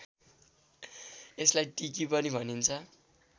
यसलाई टिकी पनि भनिन्छ